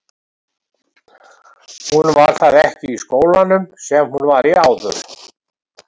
Hún var það ekki í skólanum sem hún var í áður.